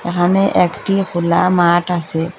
এখানে একটি খোলা মাঠ আসে।